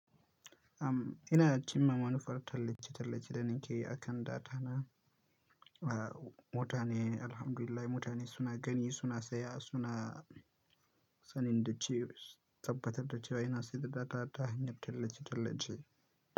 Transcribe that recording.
Am, ina cimma manufar tallace-tallace da nake yi akan data na. A mutane, alhamdulillah mutane suna gani, suna saya, suna sanin da cewa, tabbatar da cewa ina sayar da data ta hanyar tallace-tallace.